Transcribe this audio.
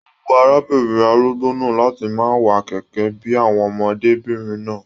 O wù arábìnrin arúgbó náà láti máa wà kẹkẹ bíi àwọn ọmọdébinrin náà.